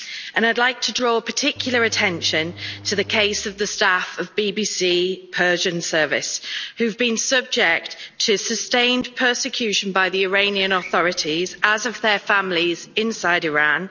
And I'd like to draw particular attention to the case of the staff of the BBC Persian service who've been subject to sustained persecution by the Iranian authorities, as have their families, inside Iran.